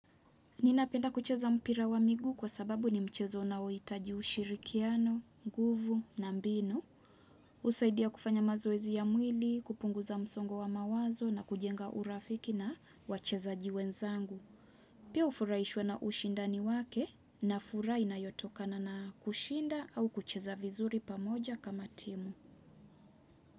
Ninapenda kucheza mpira wa miguu kwa sababu ni mchezo unaohitaji ushirikiano, nguvu na mbinu. Husaidia kufanya mazoezi ya mwili, kupunguza msongo wa mawazo na kujenga urafiki na wacheza jiwenzangu. Pia hufurahishwa na ushindani wake na furaha inayotokana na kushinda au kucheza vizuri pamoja kama timu.